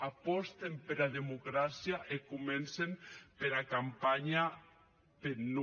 apòsten pera democràcia e comencen pera campanha peth non